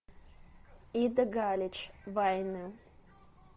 ида галич вайны